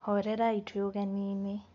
Horerai twĩ ũgeninĩ.